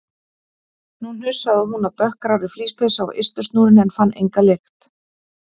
Nú hnusaði hún af dökkgrárri flíspeysu á ystu snúrunni en fann enga lykt.